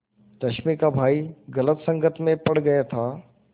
रश्मि का भाई गलत संगति में पड़ गया था